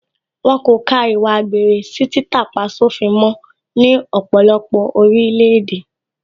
Wọ́n kò ka ìwà àgbèrè sí títà-pá-sófin mó ní ọ̀pọ̀lọpọ̀ orílẹ̀ èdè